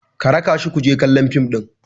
ka raka shi ku je kallon fim ɗin!